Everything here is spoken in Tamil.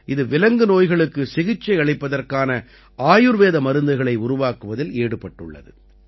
இது விலங்கு நோய்களுக்கு சிகிச்சையளிப்பதற்கான ஆயுர்வேத மருந்துகளை உருவாக்குவதில் ஈடுபட்டுள்ளது